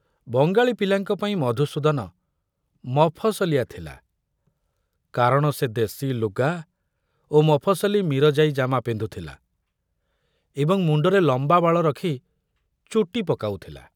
ବଙ୍ଗାଳୀ ପିଲାଙ୍କ ପାଇଁ ମଧୁସୂଦନ ମଫସଲିଆ ଥିଲା କାରଣ ସେ ଦେଶୀ ଲୁଗା ଓ ମଫସଲି ମିରଜାଇ ଜାମା ପିନ୍ଧୁଥିଲା ଏବଂ ମୁଣ୍ଡରେ ଲମ୍ବା ବାଳ ରଖ୍ ଚୁଟି ପକାଉଥିଲା।